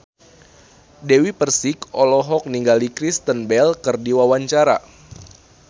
Dewi Persik olohok ningali Kristen Bell keur diwawancara